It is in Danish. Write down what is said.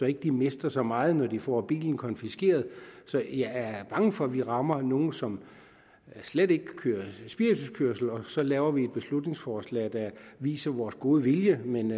ikke mister så meget når de får bilen konfiskeret så jeg er bange for at vi rammer nogle som slet ikke kører spirituskørsel og så lavet et beslutningsforslag der viser vores gode vilje men